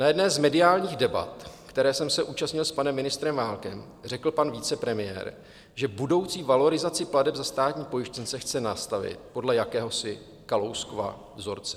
Na jedné z mediálních debat, které jsem se účastnil s panem ministrem Válkem, řekl pan vicepremiér, že budoucí valorizaci plateb za státní pojištěnce chce nastavit podle jakéhosi Kalouskova vzorce.